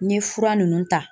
N ye fura nunnu ta